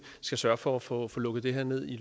skal sørge for at få at få lukket det her ned